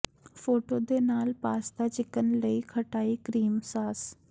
photo ਦੇ ਨਾਲ pasta chicken ਲਈ ਖਟਾਈ ਕਰੀਮ ਸਾਸ